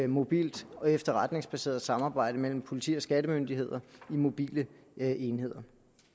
mobilt og efterretningsbaseret samarbejde mellem politi og skattemyndigheder i mobile enheder